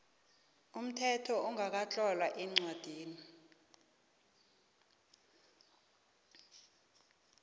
umthetho ongakatlolwa eencwadini